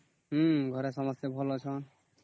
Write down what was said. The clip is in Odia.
ହଁ ଘରେ ସମସ୍ତେ ଭଲ ଅଛନ୍ତି